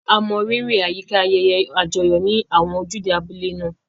A mọrírì àyíká ayẹyẹ àjọyọ̀ ní àwọn ojúde abúlé náà.